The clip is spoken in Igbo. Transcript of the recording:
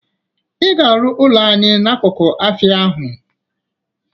I ga-arụ ụlọ anị n'akụkụ afịa ahụ!